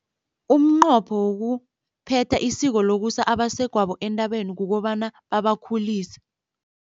Umnqopho wokuphetha isiko lokusa abasegwabo entabeni kukobana babakhulise.